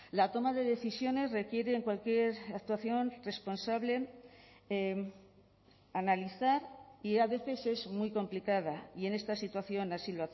la toma de decisiones requiere en cualquier actuación responsable analizar y a veces es muy complicada y en esta situación así